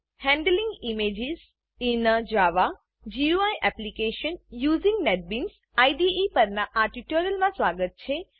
handling images in a Java GUI application using NetBeans IDE પરનાં આ ટ્યુટોરીયલમાં સ્વાગત છે